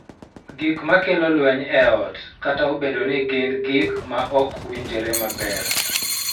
Gik ma kelo lweny e ot, kata obedo ni gin gik ma ok winjore maber,